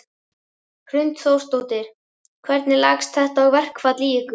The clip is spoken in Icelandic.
Hrund Þórsdóttir: Hvernig leggst þetta verkfall í ykkur?